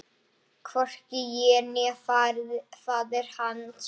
Hvorki ég né faðir hans.